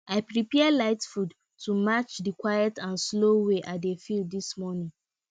i prepare light food to match the quiet and slow way i dey feel this morning